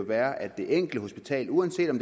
er at det enkelte hospital uanset om